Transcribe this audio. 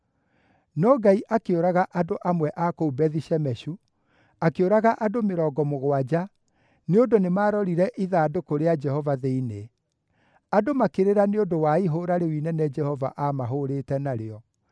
No Ngai akĩũraga andũ amwe a kũu Bethi-Shemeshu, akĩũraga andũ mĩrongo mũgwanja nĩ ũndũ nĩmarorire ithandũkũ rĩa Jehova thĩinĩ. Andũ makĩrĩra nĩ ũndũ wa ihũũra rĩu inene Jehova aamahũũrĩte narĩo,